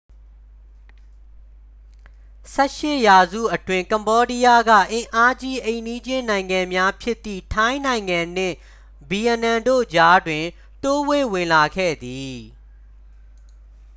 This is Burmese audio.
18 ရာစုအတွင်း ကမ္ဘောဒီးယားက အင်အာကြီး အိမ်နီးချင်းနိုင်ငံများဖြစ်သည့် ထိုင်းနိုင်ငံနှင့် ဗီယက်နမ်တို့ကြားတွင် တိုးဝှေ့ဝင်လာခဲ့သည်